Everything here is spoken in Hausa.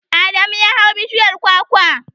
Adamu ya hau bishiyar kwakwar.